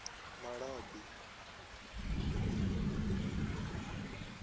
malabi